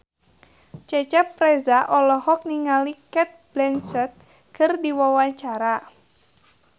Cecep Reza olohok ningali Cate Blanchett keur diwawancara